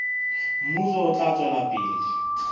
mmuso o tla tswela pele